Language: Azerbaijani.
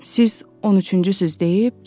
siz 13-cüsüz deyib gedir.